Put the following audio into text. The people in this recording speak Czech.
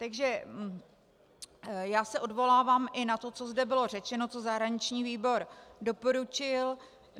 Takže já se odvolávám i na to, co zde bylo řečeno, co zahraniční výbor doporučil.